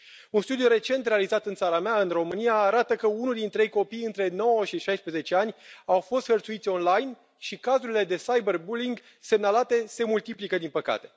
Un studiu recent realizat în țara mea, în România, arată că unul din trei copii între nouă și șaisprezece ani au fost hărțuiți online și cazurile de cyberbullying semnalate se multiplică, din păcate.